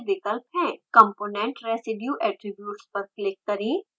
component residue attributes पर click करें